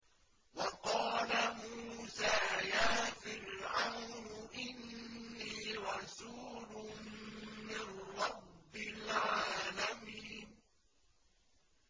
وَقَالَ مُوسَىٰ يَا فِرْعَوْنُ إِنِّي رَسُولٌ مِّن رَّبِّ الْعَالَمِينَ